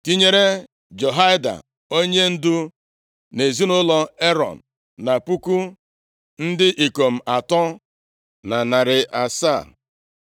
tinye Jehoiada, onyendu nʼezinaụlọ Erọn na puku ndị ikom atọ na narị asaa (3,700),